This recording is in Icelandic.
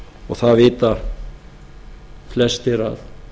og það vita flestir að